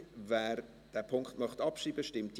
Wer diesen Punkt abschreiben möchte, stimmt Ja,